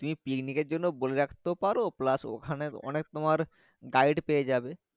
তুমি picnic এর জন্য বোলে রাখতে পারো plus ওখানেন তোমার gride পেয়ে যাবে।